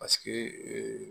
Paseke ee